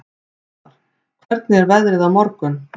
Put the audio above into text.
Þorvar, hvernig er veðrið á morgun?